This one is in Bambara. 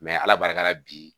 ala barika la bi